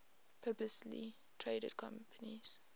publicly traded companies